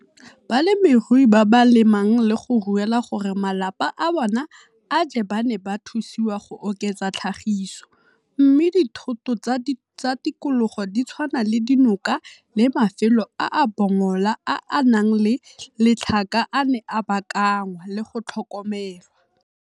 Balemirui ba ba le mang le go ruela gore malapa a bona a je ba ne ba thusiwa go oketsa tlhagiso, mme dithoto tsa tikologo di tshwana le dinoka le mafelo a a bongola a a nang le letlhaka a ne a baakanngwa le go tlhokomelwa.